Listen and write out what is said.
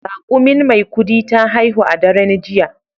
Raƙumin Maikudi ta haihu a daren jiya.